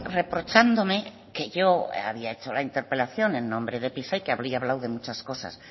reprochándome que yo había hecho la interpelación en nombre de pisa y que habría hablado de muchas cosas